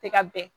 Tɛ ka bɛn